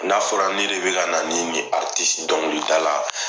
N'a fɔra ne de bɛka na ni ni dɔnkilida la,